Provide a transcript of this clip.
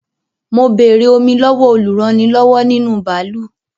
Mo béèrè fún Omi lọ́wọ́ olúrannilọ́wọ́ nínú bàálù